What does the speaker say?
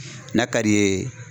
N'a ka d'i ye